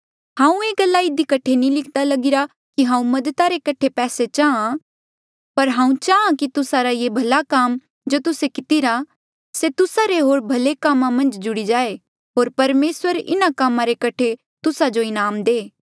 हांऊँ ये गल्ला इधी कठे नी लिख्दा लगिरा कि हांऊँ मददा रे कठे पैसे चाहां पर हांऊँ चाहां कि तुस्सा रा ये भला काम जो तुस्से कितिरा से तुस्सा रे होर भले कामा मन्झ जुड़ी जाए होर परमेसर इन्हा कामा रे कठे तुस्सा जो इनाम दे